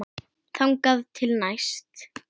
Þangað til næst.